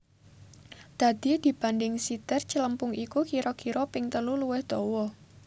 Dadi dibanding siter celempung iku kira kira ping telu luwih dawa